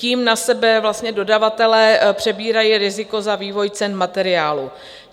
Tím na sebe dodavatelé přebírají riziko za vývoj cen materiálů.